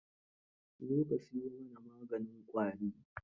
Zo ka siyo mana maganin ƙwari.